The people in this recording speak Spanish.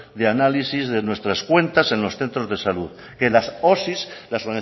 de análisis de nuestras cuentas en los centros de salud que las osi las